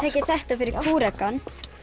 þetta fyrir kúrekann